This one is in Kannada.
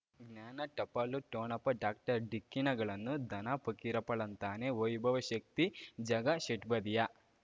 ಜ್ಞಾನ ಟಪಾಲು ಠೊಣಪ ಡಾಕ್ಟರ್ ಢಿಕ್ಕಿ ಣಗಳನು ಧನ ಫಕೀರಪ್ಪ ಳಂತಾನೆ ವೈಭವ್ ಶಕ್ತಿ ಝಗಾ ಷಟ್ಪದಿಯ